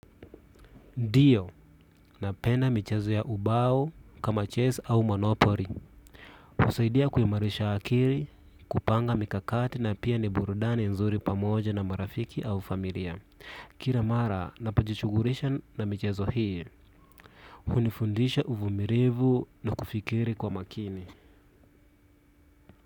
Ndiyo, napenda michezo ya ubau kama ches au manopori. Usaidia kuhimarisha akiri, kupanga mikakati na pia ni burudani nzuri pamoja na marafiki au familia. Kira mara, napajichugurisha na michezo hii. Hunifundisha uvumirivu na kufikiri kwa makini.